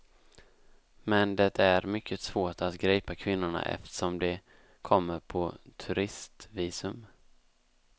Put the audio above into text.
Men det är mycket svårt att gripa kvinnorna eftersom de kommer på turistvisum.